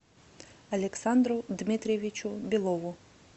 александру дмитриевичу белову